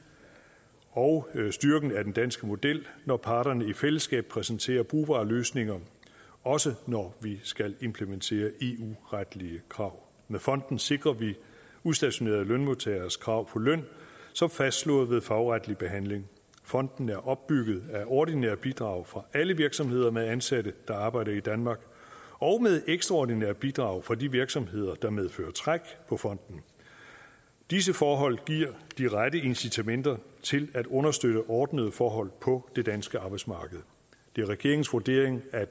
og styrken af den danske model når parterne i fællesskab præsenterer brugbare løsninger også når vi skal implementere eu retlige krav med fonden sikrer vi udstationerede lønmodtageres krav på løn som fastslået ved fagretlig behandling fonden er opbygget af ordinære bidrag fra alle virksomheder med ansatte der arbejder i danmark og med ekstraordinære bidrag fra de virksomheder der medfører træk på fonden disse forhold giver de rette incitamenter til at understøtte ordnede forhold på det danske arbejdsmarked det er regeringens vurdering at